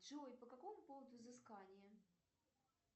джой по какому поводу взыскание